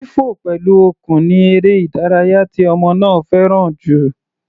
Fífọ̀ pẹ̀lú okùn ni eré ìdárayá tí ọmọ náà fẹ́ràn jù.